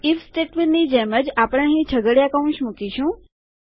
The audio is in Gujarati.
આઇએફ સ્ટેટમેન્ટની જેમ જ આપણે અહીં છગડીયા કૌંસ મુકીશું